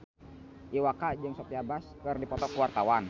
Iwa K jeung Sophia Bush keur dipoto ku wartawan